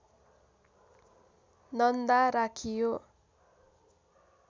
नन्दा राखियो